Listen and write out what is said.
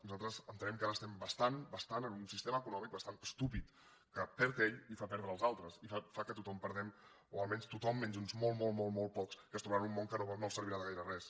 nosaltres entenem que ara estem bastant bastant en un sistema econòmic bastant estúpid que perd ell i fa perdre els altres i fa que tothom perdem o almenys tothom menys uns molt molt molt pocs que es trobaran un món que no els servirà de gaire res